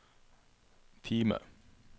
Time